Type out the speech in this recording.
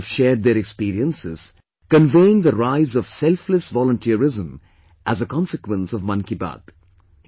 People have shared their experiences, conveying the rise of selfless volunteerism as a consequence of 'Mann Ki Baat'